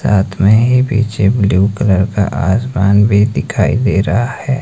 रात में ही पीछे ब्लू कलर का आसमान भी दिखाई दे रहा है।